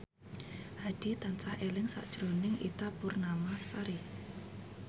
Hadi tansah eling sakjroning Ita Purnamasari